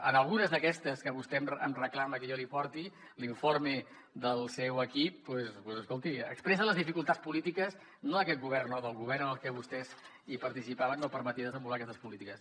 en algunes d’aquestes que vostè em reclama que jo li porti l’informe del seu equip doncs escolti expressa les dificultats polítiques no d’aquest govern no del govern en el què vostès participaven no permetia desenvolupar aquestes polítiques